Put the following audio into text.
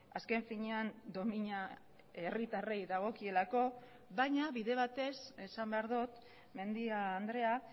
azken finean domina herritarrei dagokielako baina bide batez esan behar dut mendia andrea